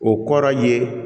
O kɔrɔ ye